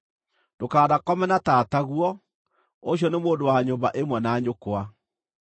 “ ‘Ndũkanakome na tataguo, ũcio nĩ mũndũ wa nyũmba ĩmwe na nyũkwa.